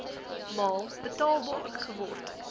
maal betaalbaar geword